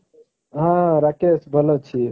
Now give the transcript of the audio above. ହଁ ରାକେଶ ଭଲ ଅଛି।